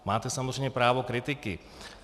Máte samozřejmě právo kritiky.